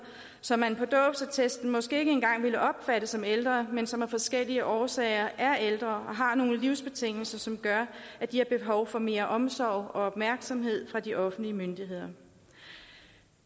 som man på dåbsattesten måske ikke engang ville opfatte som ældre men som af forskellige årsager er ældre og har nogle livsbetingelser som gør at de har behov for mere omsorg og opmærksomhed fra de offentlige myndigheder